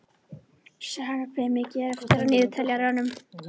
Saga, hvað er mikið eftir af niðurteljaranum?